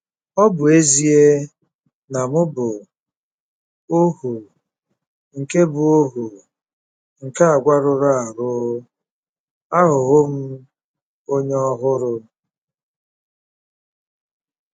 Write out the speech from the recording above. Ọ bụ ezie na m bụ ohu nke bụ ohu nke àgwà rụrụ arụ, aghọwo m onye ọhụrụ.